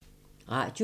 Radio 4